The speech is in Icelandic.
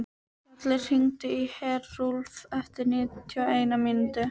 Skellir, hringdu í Herúlf eftir níutíu og eina mínútur.